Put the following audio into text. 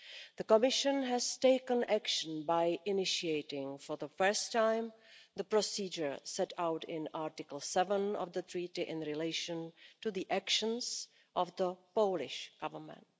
The Commission has taken action by initiating, for the first time, the procedure set out in Article 7 of the Treaty in relation to the actions of the Polish Government.